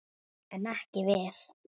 En ekki við.